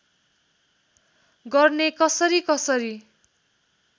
गर्ने कसरी कसरी